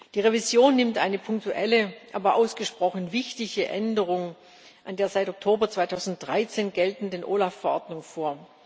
Die Revision nimmt eine punktuelle, aber ausgesprochen wichtige Änderung an der seit Oktober 2013 geltenden OLAF Verordnung vor.